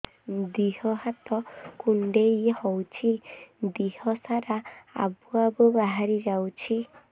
ଦିହ ହାତ କୁଣ୍ଡେଇ ହଉଛି ଦିହ ସାରା ଆବୁ ଆବୁ ବାହାରି ଯାଉଛି